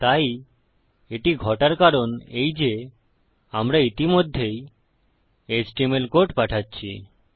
তাই এটি ঘটার কারণ এই যে আমরা ইতিমধ্যেই এইচটিএমএল কোড পাঠাচ্ছি